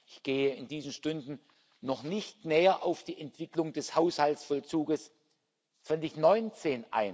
Ich gehe in diesen Stunden noch nicht näher auf die Entwicklung des Haushaltsvollzugs 2019